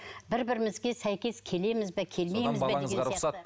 бір бірімізге сәйкес келеміз бе келмейміз бе